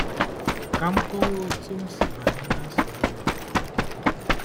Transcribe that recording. Ka m kọwaa otú m si banye ná nsogbu a